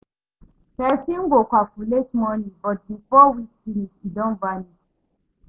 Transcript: Person go calculate money, but before week finish, e don vanish.